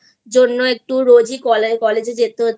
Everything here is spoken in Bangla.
জন্য রোজই কলেজে যেতে হচ্ছে